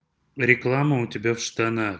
реклама у тебя в штанах